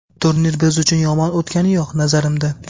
Turnir biz uchun yomon o‘tgani yo‘q, nazarimda.